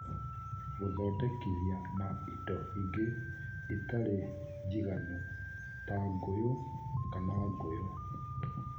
Gũthondekithia na indo ingĩ itarĩ njiganu (ta ngũyũ kana ngũyũ)